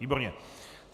Výborně.